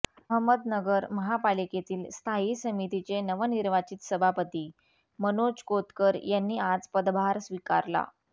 अहमदनगर महापालिकेतील स्थायी समितीचे नवनिर्वाचित सभापती मनोज कोतकर यांनी आज पदभार स्वीकारला